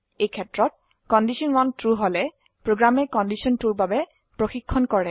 এইক্ষেত্ৰত condition 1 true হলে প্ৰোগ্ৰামে কণ্ডিশ্যন 2ৰ বাবে প্ৰশিক্ষন কৰে